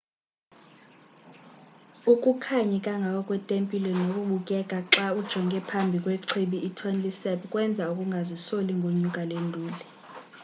ukukhanyi kangako kwetempile nokubukeka xa ujonge ngapha kwechibi itonle sap kwenza ukungazisoli ngonyuka le nduli